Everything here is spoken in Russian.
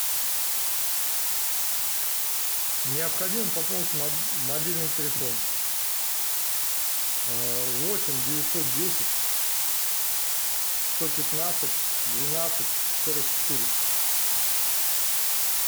необходимо пополнить мобильный телефон восемь девятьсот десять сто пятнадцать двенадцать сорок четыре